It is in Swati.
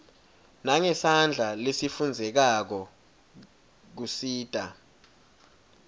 nangesandla lesifundzekako kusita